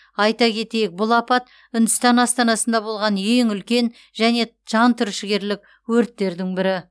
айта кетейік бұл апат үндістан астанасында болған ең үлкен және жан түршігерлік өрттердің бірі